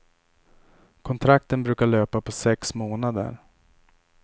Kontrakten brukar löpa på sex månader.